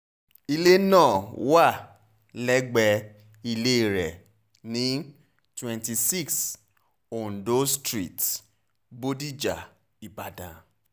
ilé náà wà lẹ́gbẹ̀ẹ́ ilé rẹ̀ ní twenty six ondo street bòdíjà ìbàdàn